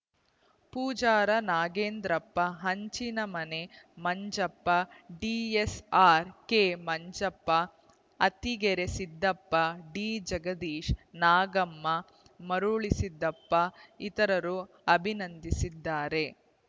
Pujara Nagendrappa Hanchinamane Manjappa D S ಆರ್ಕೆಮಂಜಪ್ಪ ಅತ್ತಿಗೆರೆ ಸಿದ್ದಪ್ಪ ಡಿಜಗದೀಶ್‌ ನಾಗಮ್ಮ ಮರುಳಸಿದ್ದಪ್ಪ ಇತರರು ಅಭಿನಂದಿಸಿದ್ದಾರೆ